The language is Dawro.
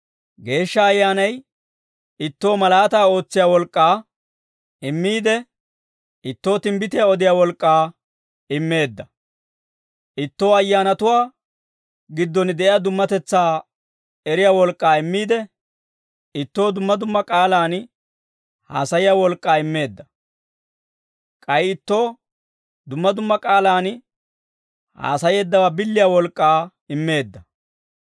Geeshsha Ayyaanay ittoo malaataa ootsiyaa wolk'k'aa immiide, ittoo timbbitiyaa odiyaa wolk'k'aa immeedda. Ittoo ayyaanatuwaa gidduwaan de'iyaa dummatetsaa eriyaa wolk'k'aa immiide, ittoo dumma dumma k'aalaan haasayiyaa wolk'k'aa immeedda. K'ay ittoo dumma dumma k'aalaan haasayeeddawaa billiyaa wolk'k'aa immeedda